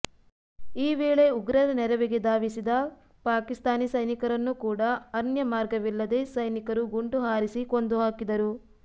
ಈ ವೇಳೆ ಉಗ್ರರ ನೆರವಿಗೆ ಧಾವಿಸಿದ ಪಾಕಿಸ್ತಾನಿ ಸೈನಿಕರನ್ನೂ ಕೂಡ ಅನ್ಯ ಮಾರ್ಗವಿಲ್ಲದೇ ಸೈನಿಕರು ಗುಂಡು ಹಾರಿಸಿಕೊಂದು ಹಾಕಿದರು